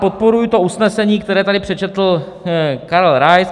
Podporuji to usnesení, které tady přečetl Karel Rais.